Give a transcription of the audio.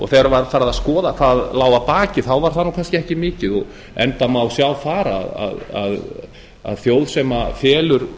þegar farið var að skoða hvað lá að baki þá var það kannski ekki mikið enda má sjá þar að þjóð sem felur